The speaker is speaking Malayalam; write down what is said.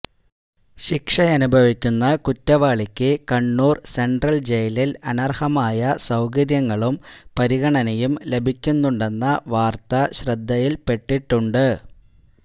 ശിക്ഷയനുഭവിക്കുന്ന കുറ്റവാളിക്ക് കണ്ണൂര് സെന്ട്രല് ജയിലില് അനര്ഹമായ സൌകര്യങ്ങളും പരിഗണനയും ലഭിക്കുന്നുണ്ടെന്ന വാര്ത്ത ശ്രദ്ധയില്പ്പെട്ടിട്ടുണ്ട്